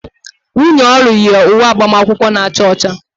Nwunye Olu yi uwe agbamakwụkwọ na-acha ọcha